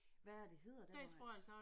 Hvad er det hedder der hvor han